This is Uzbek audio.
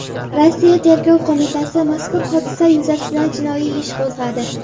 Rossiya Tergov qo‘mitasi mazkur hodisa yuzasidan jinoiy ish qo‘zg‘adi.